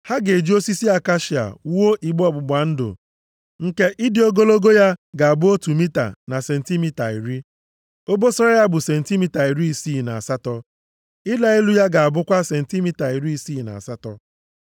“Ha ga-eji osisi akashia wuo igbe ọgbụgba ndụ nke ịdị ogologo ya ga-abụ otu mita na sentimita iri. Obosara ya bụ sentimita iri isii na asatọ. Ịla elu ya ga-abụkwa sentimita iri isii na asatọ.